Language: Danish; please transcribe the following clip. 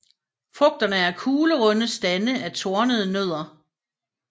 Frugterne er kuglerunde stande af tornede nødder